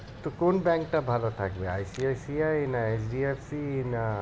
তো কোন bank টা ভালো থাকবে ICICI না HDFC না